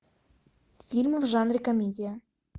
фильмы в жанре комедия